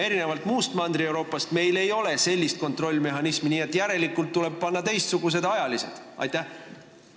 Erinevalt muust Mandri-Euroopast ei ole meil sellist kontrollmehhanismi, järelikult tuleb kasutada teistsugust võimalust ehk panna ajalised piirangud.